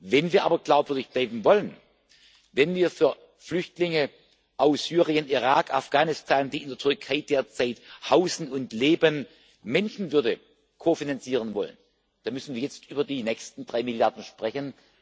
Wenn wir aber glaubwürdig bleiben wollen, wenn wir für Flüchtlinge aus Syrien, Irak, Afghanistan, die in der Türkei derzeit hausen und leben, Menschenwürde kofinanzieren wollen, dann müssen wir jetzt über die nächsten drei Milliarden sprechen.